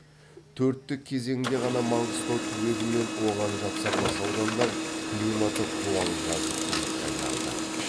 төрттік кезеңде ғана маңғыстау түбегі мен оған жапсарлас аудандар климаты қуаң жазық құрлыққа айналды